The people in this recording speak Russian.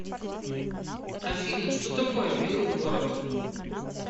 афина что такое белый город